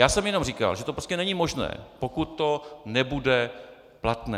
Já jsem jenom říkal, že to prostě není možné, pokud to nebude platné.